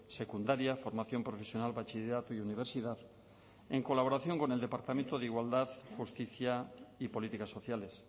secundaria formación profesional bachillerato y universidad en colaboración con el departamento de igualdad justicia y políticas sociales